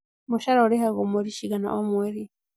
Mũcara ũrĩhagwo mweri cigana o mweri?